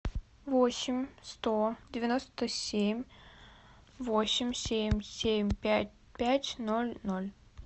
восемь сто девяносто семь восемь семь семь пять пять ноль ноль